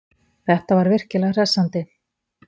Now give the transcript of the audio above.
Þetta var virkilega hressandi.